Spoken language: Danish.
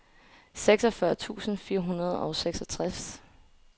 seksogfyrre tusind fire hundrede og seksogtres